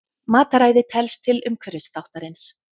Mataræði telst til umhverfisþáttarins.